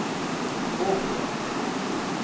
Åkra